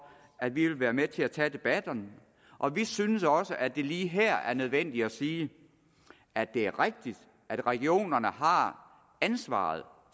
at vi vil være med til at tage debatterne og vi synes også at det lige her er nødvendigt at sige at det er rigtigt at regionerne har ansvaret